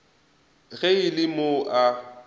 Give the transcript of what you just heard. ge e le mo a